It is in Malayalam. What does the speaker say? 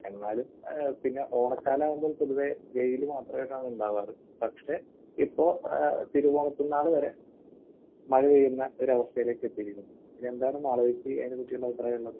എന്നാലും ഏഹ് പിന്നെ ഓണക്കാലമാകുമ്പോൾ പൊതുവെ വെയിൽ മാത്രമായിട്ടാണ് ഉണ്ടാകാർ. പക്ഷെ ഇപ്പോൾ ഏഹ് തിരുവോണനാൾ വരെ മഴ പെയ്യുന്ന ഒരു അവസ്ഥയിലേക്ക് എത്തിയിരിക്കുന്നു. ഇനി എന്താണ് അതിനെ പറ്റിയുള്ള അഭിപ്രായമുള്ളത്?